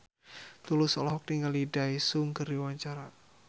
Tulus olohok ningali Daesung keur diwawancara